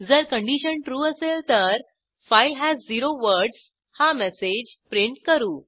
जर condition true असेल तर फाइल हस झेरो वर्ड्स हा मेसेज प्रिंट करू